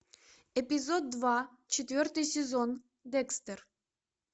эпизод два четвертый сезон декстер